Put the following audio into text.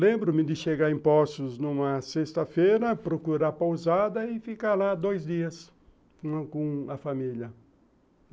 Lembro-me de chegar em Poços numa sexta-feira, procurar pausada e ficar lá dois dias com a família.